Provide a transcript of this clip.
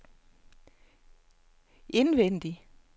indvendig